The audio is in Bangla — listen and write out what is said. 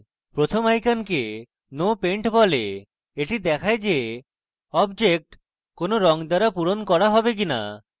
প্রথম আইকনকে no paint বলে the দেখায় the object কোনো no দ্বারা পূরণ করা হবে no